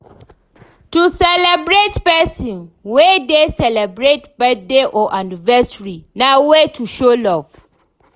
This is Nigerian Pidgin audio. To celebrate persin wey de celebrate birthday or anniversary na way to show love